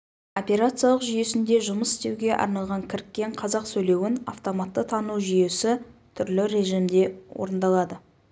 операциялық жүйесінде жұмыс істеуге арналған кіріккен қазақ сөйлеуін автоматты тану жүйесі түрлі режимде орындалады